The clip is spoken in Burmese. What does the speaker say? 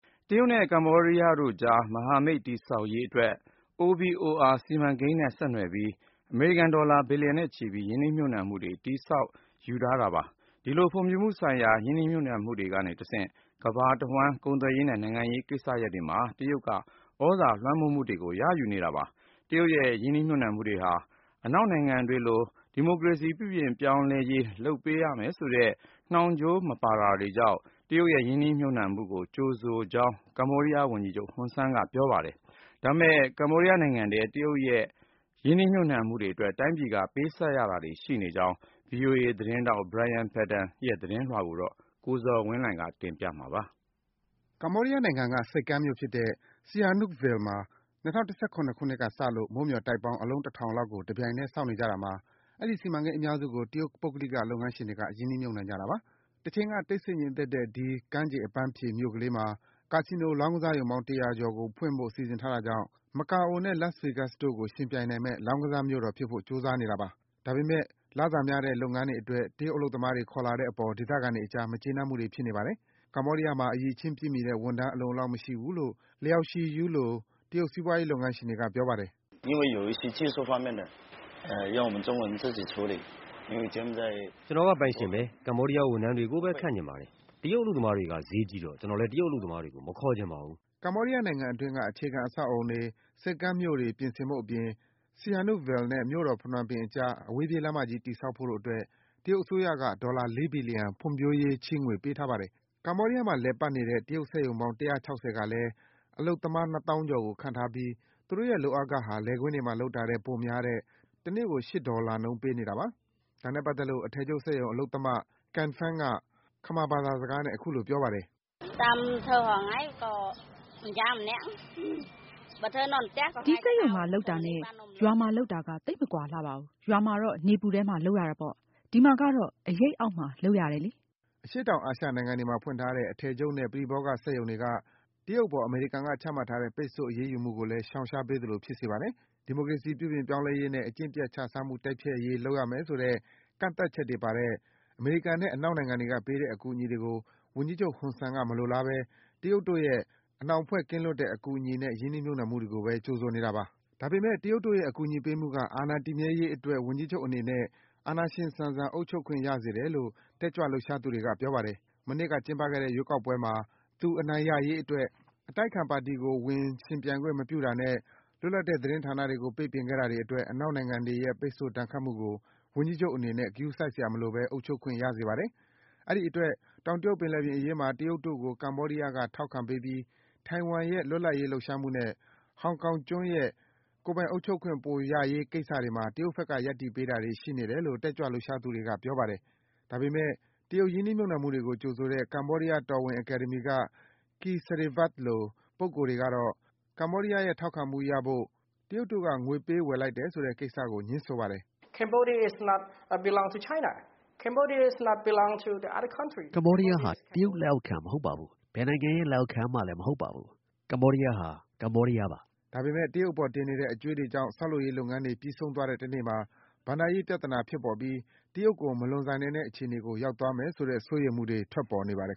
တရုတ်နဲ့ ကမ္ဘောဒီးယားအကြား မဟာမိတ်တည်ဆောက်ရေးအတွက် One Belt One Road ရပ်ဝန်းတခု လမ်းကြောင်းတခု စီမံကိန်းနဲ့ ဆက်နွယ်ပြီး အမေရိကန်ဒေါ်လာ ဘီလီယံနဲ့ချီပြီး ရင်းနှီးမြုပ်နှံမှုတွေနဲ့ တည်ဆောက်ယူထားတာပါ။ အဲဒီလို ဖွံ့ဖြိုးမှုဆိုင်ရာ ရင်းနှီးမြုပ်နှံမှုတွေကတဆင့် ကမ္ဘာတဝှမ်း တရုတ်တို့က ကုန်သွယ်ရေးနဲ့ နိုင်ငံရေးဆိုင်ရာ ကိစ္စရပ်တွေမှာ သြဇာလွှမ်းမိုးမှုတွေကို ရယူနေတာပါ။ တရုတ်ရဲ့ ရင်းနှီးမြုပ်နံှမှုတွေဟာ အနောက်နိုင်ငံတွေကလာတဲ့ ရင်းနှီးမြုပ်နှံမှုတွေလို ဒီမိုကရေစီအရေး ပြုပြင် ပြောင်းလဲမှုတွေ လုပ်ဆောင်ရမယ်ဆိုတဲ့ နှောင်ကြိုးတွေ ပါမနေတာကြောင့် တရုတ်ရဲ့ ရင်းနှီးမြှုပ်နှံမှုတွေကို သူ့အနေနဲ့ ကြိုဆိုလက်ခံခြင်းဖြစ်ကြောင်း ကမ္ဘောဒီးယားဝန်ကြီးချုပ် ဟွန်ဆန်က ပြောပါတယ်။ ဒါပေမယ့် ကမ္ဘောဒီးယားနိုင်ငံထဲက တရုတ်တို့ရဲ့ အလုံးအရင်းလာနဲ့ ချည်းငွေတွေနဲ့ ရင်းနှီးမြှုပ်နှံမှုတွေအတွက် တိုင်းပြည်က ပေးဆပ်ရတာတွေ ရှိနေကြောင်း ဗွီအိုအေ သတင်းထောက် Brian Padden သတင်းပေးပို့ထားပါတယ်။ အပြည့်အစုံကိုတော့ ကိုဇော်ဝင်းလှိုင်က တင်ပြပေးပါမယ်။ ကမ္ဘောဒီးယားနိုင်ငံက ဆိပ်ကမ်းမြို့ဖြစ်တဲ့ Sihanoukville မှာ ၂၀၁၇ ခုနှစ်ကစလို့ မိုးမျှော်တိုက်ပေါင်း အလုံး တထောင်လောက်ကို တပြိုင်တည်း တည်ဆောက်နေကြတာမှာ အဲဒီ စီမံကိန်းအများစုကို တရုတ်ပုဂ္ဂလိက လုပ်ငန်းရှင်တွေက ရင်းနှီးမြှုပ်နှံကြတာပါ။ တချိန်က တိတ်ဆိတ်ငြိမ်သက်တဲ့ ဒီ ကမ်းခြေ အပန်းဖြေမြို့ကလေးမှာ ကာဆီနိုလောင်းကစားရုံပေါင်း ၁၀၀ ကျော်ကို ဖွင့်ဖို့ စီစဉ်ထားတာကြောင့် မကာအိုနဲ့ Las Vegas တို့ကို ယှဉ်ပြိုင်နိုင်မယ့် လောင်းကစားမြို့တော်ဖြစ်ဖို့ ကြိုးစားနေတာပါ။ ဒါပေမယ့် လစာများတဲ့ လုပ်ငန်းတွေအတွက် တရုတ်အလုပ်သမားတွေ ခေါ်လာတဲ့အပေါ် ဒေသခံတွေအကြား မကျေနပ်မှုတွေ ဖြစ်နေပါတယ်။ ကမ္ဘောဒီးယားမှာ အရည်အချင်းပြည့်မှီတဲ့ ဝန်ထမ်းအလုံအလောက်မရှိဘူးလို့ တရုတ်စီးပွားရေးလုပ်ငန်းရှင်တွေက ပြောပါတယ်။ “ကျနော်က ပိုင်ရှင်ဘဲ။ ကမ္ဘောဒီးယားဝန်ထမ်းတွေကိုဘဲ ခန့်ချင်ပါတယ်။ တရုတ်အလုပ်သမားတွေက ဈေးကြီးတော့ ကျနော်လဲ တရုတ်အလုပ်သမားတွေကို မခေါ်ချင်ပါဘူး။” ကမ္ဘောဒီးယားနိုင်ငံအတွင်းက အခြေခံအဆောက်အဦးတွေ၊ ဆိပ်ကမ်းတွေပြင်ဆင်ဖို့အပြင် Sihanoukville နဲ့ မြို့တော် ဖနွမ်းပင်အကြား အဝေးပြေးလမ်းမကြီး တည်ဆောက်ဖို့တို့အတွက် တရုတ်အစိုးရက ဒေါ်လာ ၄ ဘီလီယံ ဖွံ့ဖြိုးရေး ချေးငွေ ပေးထားပါတယ်။ ကမ္ဘောဒီးယားမှာ လည်ပတ်နေတဲ့ တရုတ်စက်ရုံပေါင်း ၁၆၀ ကလည်း အလုပ်သမား နှစ်သောင်းကျော်ကို ခန့်ထားပြီး သူတို့ရဲ့ လုပ်အားခဟာ လယ်ကွင်းတွေမှာလုပ်တာထက် ပိုများတဲ့ တနေ့ကို ၈ ဒေါ်လာနှုန်း ပေးနေတာပါ။ ဒါနဲ့ပတ်သက်လို့ အထည်ချုပ်စက်ရုံအလုပ်သမ Ken Pheng က ခမာဘာသာစကားနဲ့ အခုလို ပြောပါတယ်။ “ဒီစက်ရုံမှာလုပ်တာနဲ့ ရွာမှာလုပ်တာက သိပ်မကွာလှပါဘူး။ ရွာမှာတော့ နေပူထဲမှာလုပ်ရတာပေါ့၊ ဒီမှာကတော့ အရိပ်အောက်မှာလုပ်ရတယ်လေ။” အရှေ့တောင်အာရှနိုင်ငံတွေမှာ ဖွင့်ထားတဲ့ အထည်ချုပ်နဲ့ ပရိဘောဂစက်ရုံတွေက တရုတ်အပေါ် အမေရိကန်က ချမှတ်ထားတဲ့ ပိတ်ဆို့ အရေးယူမှုကိုလည်း ရှောင်ရှားပေးသလို ဖြစ်စေပါတယ်။ ဒီမိုကရေစီ ပြုပြင်ပြောင်းလဲရေးနဲ့ အကျင့်ပျက်ခြစားမှု တိုက်ဖျက်ရေး လုပ်ရမယ်ဆိုတဲ့ ကန့်သတ်ချက်တွေပါတဲ့ အမေရိကန်နဲ့ အနောက်နိုင်ငံတွေက ပေးတဲ့အကူအညီတွေကို ဝန်ကြီးချုပ် ဟွန်ဆန်က မလိုလားဘဲ တရုတ်တို့ရဲ့ အနှောင်အဖွဲ့ကင်းလွတ်တဲ့ အကူအညီနဲ့ ရင်းနှီးမြှုပ်နှံမှုတွေကိုဘဲ ကြိုဆိုနေတာပါ။ ဒါပေမယ့် တရုတ်ရဲ့ အကူအညီပေးမှုက အာဏာတည်မြဲရေးအတွက် ဝန်ကြီးချုပ်အနေနဲ့ အာဏာရှင်ဆန်ဆန် အုပ်ချုပ်ခွင့် ရစေတယ်လို့ တက်ကြွလှုပ်ရှားသူတွေက ပြောပါတယ်။ မနှစ်က ကျင်းပခဲ့တဲ့ ရွေးကောက်ပွဲမှာ သူအနိုင်ရရေးအတွက် အတိုက်အခံပါတီကို ဝင်ပြိုင်ခွင့် မပြုတာနဲ့ လွတ်လပ်တဲ့ သတင်းဌာနတွေကို ပိတ်ပင်ခဲ့တာတွေအတွက် အနောက်နိုင်ငံတွေရဲ့ ပိတ်ဆို့ ဒဏ်ခတ်မှုကို ဝန်ကြီးချုပ်အနေနဲ့ ဂရုစိုက်စရာမလိုဘဲ အုပ်ချုပ်ခွင့် ရစေပါတယ်။ အဲဒီအတွက် တောင်တရုတ်ပင်လယ်ပြင်အရေးမှာ တရုတ်တို့ကို ကမ္ဘောဒီးယားက ထောက်ခံပေးပြီး ထိုင်ဝမ်ရဲ့ လွတ်လပ်ရေး လှုပ်ရှားမှုနဲ့ ဟောင်ကောင်ရဲ့ ကိုယ်ပိုင်အုပ်ချုပ်ခွင့် ပိုရရေးကိစ္စတွေမှာ တရုတ်ဘက်က ရပ်တည်ပေးတာတွေ ရှိနေတယ်လို့ တက်ကြွလှုပ်ရှားသူတွေက ပြောပါတယ်။ ဒါပေမယ့် တရုတ်ရင်းနှီးမြှုပ်နှံမှုတွေကို ကြိုဆိုတဲ့ ကမ္ဘောဒီးယားတော်ဝင်အကယ်ဒမီက Ky Sereyvath လို ပုဂ္ဂိုလ်တွေကတော့ ကမ္ဘောဒီးယားရဲ့ ထောက်ခံမှုရဖို့ တရုတ်တို့က ငွေပေးဝယ်လိုက်တဲ့ဆိုတဲ့ ကိစ္စကို ငြင်းဆိုပါတယ်။ “ကမ္ဘောဒီးယားဟာ တရုတ်လက်အောက်ခံမဟုတ်ပါဘူး။ ဘယ်နိုင်ငံရဲ့ လက်အောက်ခံမှလည်း မဟုတ်ပါဘူး။ ကမ္ဘောဒီးယားဟာ ကမ္ဘောဒီးယားပါ။” ဒါပေမယ့် တရုတ်အပေါ် တင်နေတဲ့ အကြွေးတွေကြောင့် ဆောက်လုပ်ရေးလုပ်ငန်းတွေ ပြီးဆုံးသွားတဲ့ တနေ့မှာ ဘဏ္ဍာရေး ပြဿနာဖြစ်ပေါ်ပြီး တရုတ်ကို မလွန်ဆန်နိုင်တဲ့အခြေအနေကို ရောက်သွားမယ်ဆိုတဲ့ စိုးရိမ်မှုတွေ ထွက်ပေါ်နေပါတယ်